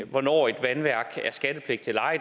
hvornår et vandværk er skattepligtigt eller ej